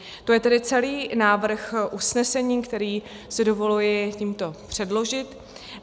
To je tedy celý návrh usnesení, který si dovoluji tímto předložit.